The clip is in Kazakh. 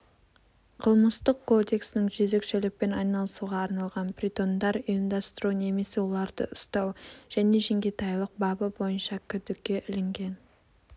қылмыстық кодексінің жезөкшелікпен айналысуға арналған притондар ұйымдастыру немесе оларды ұстау және жеңгетайлық бабы бойынша күдікке ілінген